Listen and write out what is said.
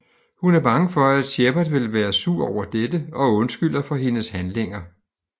Hun er bange for at Shepard vil være sur over dette og undskylder for hendes handlinger